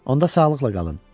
Onda sağlıqla qalın.